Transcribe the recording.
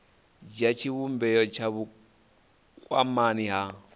dzhia tshivhumbeo tsha vhukwamani ha